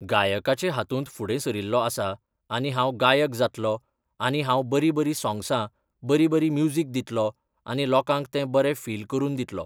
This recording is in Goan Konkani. गायकाचे हातूंत फुडें सरिल्लों आसा आनी हांव गायक जातलों आनी हांव बरीं बरीं सोंग्सां, बरी बरी म्युजीक दितलों आनी लोकांक तें बरे फील करून दितलों.